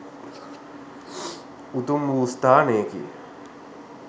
උතුම් වූ ස්ථානයකි.